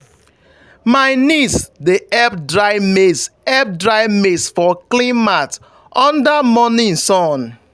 my niece dey help dry maize help dry maize for clean mat under morning sun.